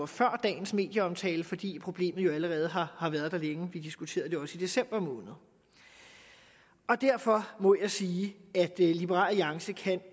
før dagens medieomtale fordi problemet jo allerede har har været der længe vi diskuterede det også i december måned derfor må jeg sige at liberal alliance